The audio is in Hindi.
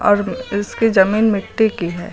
और इसकी जमीन मिट्टी की है।